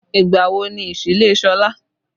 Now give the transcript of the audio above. Ìgbà wo ni ìsílé Sọlá?